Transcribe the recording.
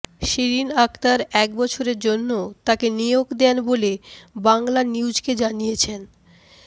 শিরীণ আখতার এক বছরের জন্য তাকে নিয়োগ দেন বলে বাংলানিউজকে জানিয়েছেন